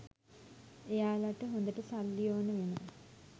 එයාලට හොදට සල්ලි ඕන වෙනවා